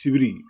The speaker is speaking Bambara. Sibiri